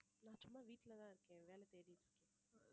நான் சும்மா வீட்டுலதான் இருக்கேன் வேலை தேடிட்டு இருக்கேன்